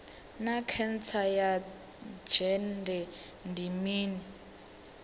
naa khentsa ya dzhende ndi mini